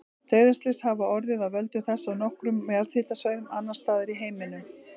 Dauðaslys hafa orðið af völdum þessa á nokkrum jarðhitasvæðum annars staðar í heiminum.